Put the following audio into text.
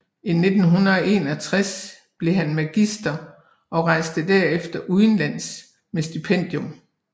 I 1761 blev han magister og rejste derefter udenlands med stipendium